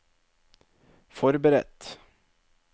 forberedt